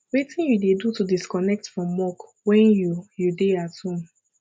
wetin you dey do to disconnect from work when you you dey at home